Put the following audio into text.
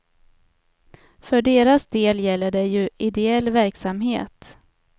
För deras del gäller det ju ideell verksamhet.